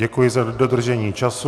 Děkuji za dodržení času.